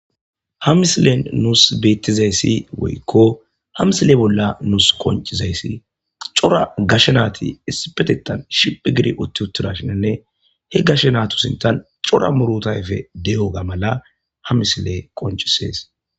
Ha misilen nuus beettizayssi woykko ha misile bolla nuus qoncizayssi cora gashe naati essipetetan shiphi giri utti uttuda shinanne he gashe naatusintan cora murutayfe de'oga mala ha misile qoncisees